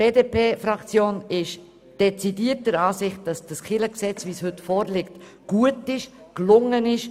Die BDP-Fraktion ist dezidiert der Ansicht, dass das neue Kirchengesetz in der heute vorliegenden Form gut gelungen ist.